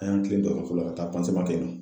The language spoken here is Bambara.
An y'an kilen dɔgɔtɔrɔso la ka taa kɛ yen nɔ.